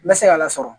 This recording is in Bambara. N bɛ se k'a la sɔrɔ